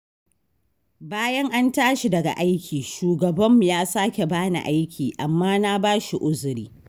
Bayan an tashi daga aiki, shugabanmu ya sake ba ni aiki, amma na ba shi uziri.